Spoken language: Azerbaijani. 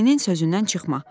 Müəlliminin sözündən çıxma.